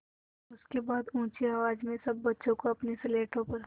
उसके बाद ऊँची आवाज़ में सब बच्चों को अपनी स्लेटों पर